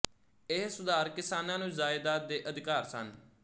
ਇਹ ਸੁਧਾਰ ਕਿਸਾਨਾਂ ਨੂੰ ਜਾਇਦਾਦ ਦੇ ਅਧਿਕਾਰ ਸਨ